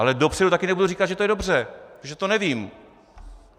Ale dopředu taky nebudu říkat, že to je dobře, protože to nevím.